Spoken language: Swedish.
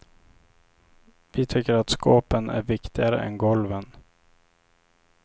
Vi tycker att skåpen är viktigare än golven.